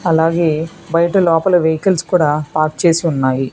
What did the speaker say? అలాగే బయట లోపల వెహికల్స్ కూడా పార్క చేసి ఉన్నాయి.